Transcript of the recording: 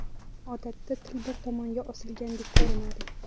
Odatda til bir tomonga osilgandek ko‘rinadi.